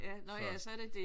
Nå ja så er det det